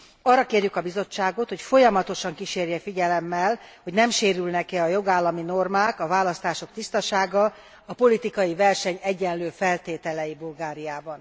Arra kérjük a Bizottságot, hogy folyamatosan kísérje figyelemmel, hogy nem sérülnek e a jogállami normák, a választások tisztasága, a politikai verseny egyenlő feltételei Bulgáriában.